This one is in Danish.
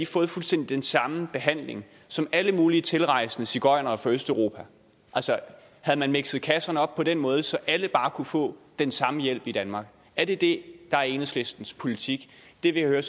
fået fuldstændig den samme behandling som alle mulige tilrejsende sigøjnere fra østeruopa altså havde man mikset kasserne op på en måde så alle bare kunne få den samme hjælp i danmark er det det der er enhedslistens politik det er det jeg hører